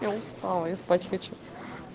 я устала я спать хочу